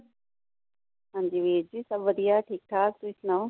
ਹਾਂ ਜੀ ਵੀਰ ਜੀ ਸ਼ਭ ਵਧੀਆ। ਠੀਕ-ਠਾਕ ਤੁਸੀ ਸੁਣਾਓ।